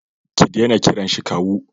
Ki dena kiran shi kawu